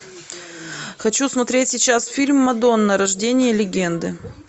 хочу смотреть сейчас фильм мадонна рождение легенды